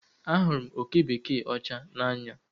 Ahụrụ m oke bekee ọcha n'anya